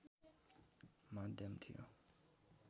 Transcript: माध्यम थियो